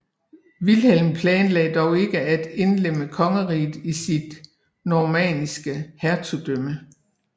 Vilhelm planlagde dog ikke at indlemme kongeriget i sit normanniske hertugdømme